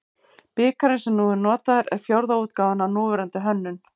Bikarinn sem nú er notaður er fjórða útgáfan af núverandi hönnun.